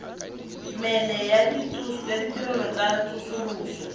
mene ya ditirelo tsa tsosoloso